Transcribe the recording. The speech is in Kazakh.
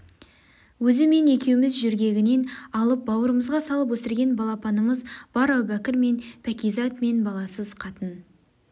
өзі мен екеуміз жөргегінен алып бауырымызға салып өсірген балапанымыз бар әубәкір мен пәкизат мен баласыз қатын